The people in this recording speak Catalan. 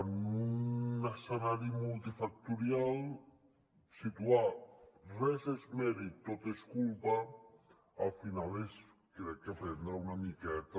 en un escenari multifactorial situar res és mèrit tot és culpa al final és crec que prendre una miqueta